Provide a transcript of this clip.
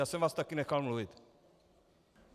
Já jsem vás také nechal mluvit.